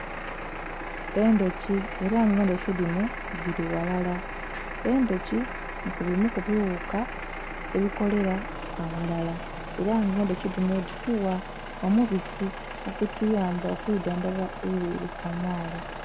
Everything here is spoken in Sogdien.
Endhuki era nga endhuki dhinho dhili ghalala, endhuki nhekubimu kubighuka ebikolera aghalala era nga endhuki dhinho dhitugha omubisi ogutuyamba okwidhandhaba edhyere kamala.